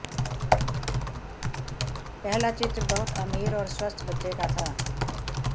पहला चित्र बहुत अमीर और स्वस्थ बच्चे का था